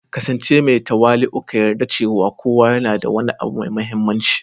ƙasance mai tawali'u, ka yarda cewa kowa yana da wani abu mai mahimmanci